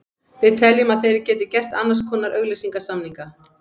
Við teljum að þeir geti gert annars konar auglýsingasamninga.